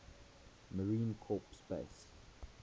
marine corps base